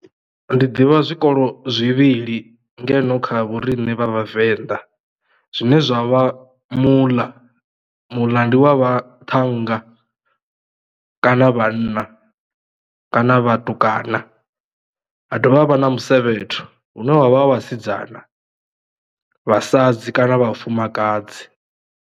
Ndi ḓivha zwikolo zwivhili ngeno kha vhoriṋe vha vhavenḓa zwine zwa vha muḽa. Muḽa ndi wa vhaṱhannga kana vhanna kana vhatukana ha dovha havha na musevhetho hune wavha vhasidzana, vhasadzi kana vhafumakadzi.